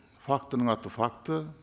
фактінің аты факті